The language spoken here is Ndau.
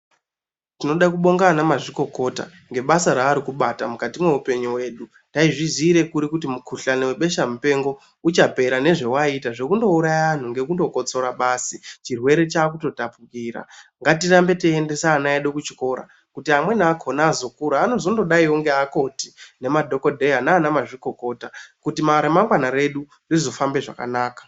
Tinoda kubonga ana mazvikokota ngebasa ravari kubata mukati mwe upenyu hwedu taizvi ziire kuri kuti mu kuhlani we besha mupengo uchapera nezva waita zvekundo uraya vantu ngekundo kotsora basa chirwere chakuto tapukira ngati rambe teyi endesa ana edu kuchikora kuti amweni akona azokura anozondo daiwo ne akoti ne madhokodheya nana mazvikokota kuti ra mangwana redu rizo fambe zvakanaka.